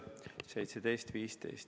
Kas fraktsioonidel on soov avada läbirääkimised?